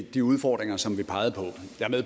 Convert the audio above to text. at de udfordringer som vi pegede